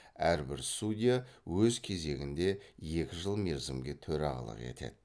әрбір судья өз кезегінде екі жыл мерзімге төрағалық етеді